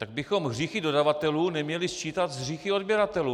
Tak bychom hříchy dodavatelů neměli sčítat s hříchy odběratelů.